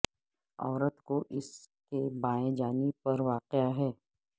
عورت کو اس کے بائیں جانب پر واقع ہے